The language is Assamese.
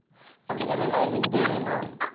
আজিকালি তো lighting তোৱে main